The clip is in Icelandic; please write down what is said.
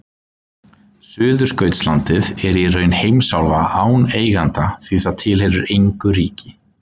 Suðurskautslandið er í raun heimsálfa án eiganda því það tilheyrir engu ríki.